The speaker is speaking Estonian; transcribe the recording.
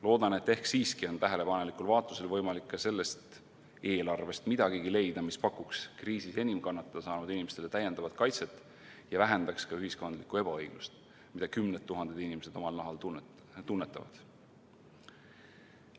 Loodan, et ehk siiski on tähelepanelikul vaatlusel võimalik ka sellest eelarvest leida midagigi, mis pakuks kriisis enim kannatada saanud inimestele täiendavat kaitset ja vähendaks ühiskondlikku ebaõiglust, mida kümned tuhanded inimesed omal nahal tunnetavad.